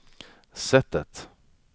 sättet